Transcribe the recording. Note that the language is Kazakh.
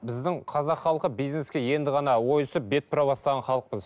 біздің қазақ халқы бизнеске енді ғана ойысып бет бұра бастаған халықпыз